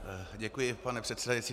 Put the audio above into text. Děkuji, pane předsedající.